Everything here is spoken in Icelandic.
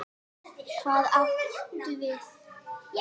Hvað áttu við?